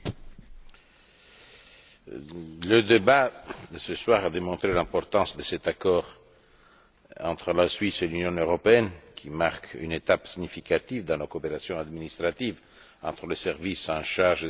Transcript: Monsieur le Président, le débat de ce soir a démontré l'importance de cet accord entre la Suisse et l'Union européenne, qui marque une étape significative dans la coopération administrative entre les services en charge des affaires de concurrence.